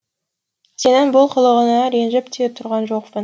сенің бұл қылығыңа ренжіп те тұрған жоқпын